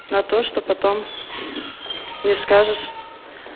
на то что потом не скажешь